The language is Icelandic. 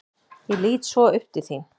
Ég lít svo upp til þín.